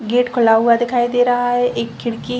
gate खुला हुआ दिखाई दे रहा है एक खिड़की --